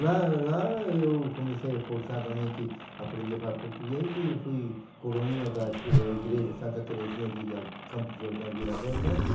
Lá lá eu comecei forçadamente a aprender a falar português e fui coroinha da da igreja Santa Teresinha de ca Campo de Jordão, Vila Bernécia.